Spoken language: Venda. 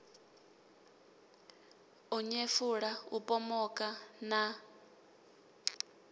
u nyefula u pomoka na